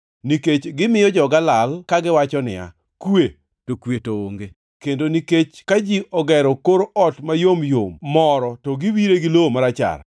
“ ‘Nikech gimiyo joga lal, kagiwacho niya, “Kwe,” to kwe to onge, kendo nikech ka ji ogero kor ot mayom yom moro to giwire gi lowo marachar,